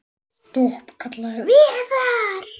Stopp, kallaði Vala.